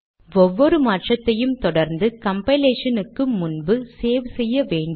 ஒவ்வொரு மாற்றத்தையும் தொடர்ந்து கம்பைலேஷனுக்கு முன்பு சேவ் செய்ய வேண்டும்